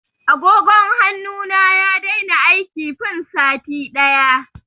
Agogon hannu na ya daina aiki fin sati ɗaya.